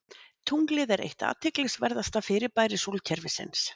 Tunglið er eitt athyglisverðasta fyrirbæri sólkerfisins.